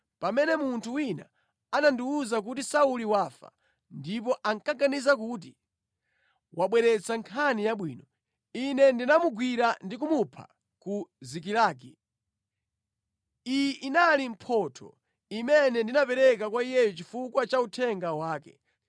pamene munthu wina anandiwuza kuti, ‘Sauli wafa’ ndipo ankaganiza kuti wabweretsa nkhani yabwino, ine ndinamugwira ndi kumupha ku Zikilagi. Iyi inali mphotho imene ndinapereka kwa iyeyo chifukwa cha uthenga wake!